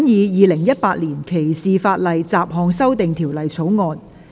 《2018年歧視法例條例草案》。